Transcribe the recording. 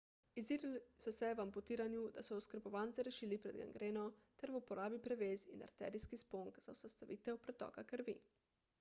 izurili so se v amputiranju da so oskrbovance rešili pred gangreno ter v uporabi prevez in arterijskih sponk za zaustavitev pretoka krvi